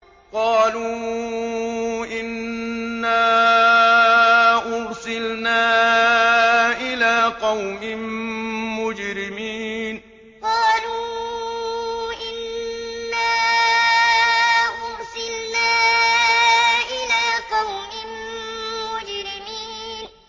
قَالُوا إِنَّا أُرْسِلْنَا إِلَىٰ قَوْمٍ مُّجْرِمِينَ قَالُوا إِنَّا أُرْسِلْنَا إِلَىٰ قَوْمٍ مُّجْرِمِينَ